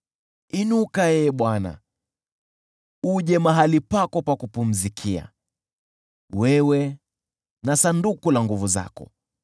inuka, Ee Bwana , uje mahali pako pa kupumzikia, wewe na Sanduku la nguvu zako.